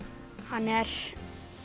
hann er